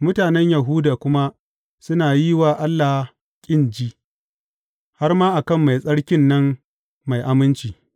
Mutanen Yahuda kuma suna yi wa Allah ƙin ji, har ma a kan Mai Tsarkin nan mai aminci.